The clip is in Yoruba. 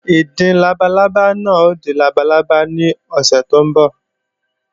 Ìdin labalábá náà ó di labalábá lọ́sẹ̀ tó ń bọ̀